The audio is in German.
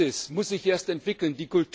Die Praxis muss sich erst entwickeln.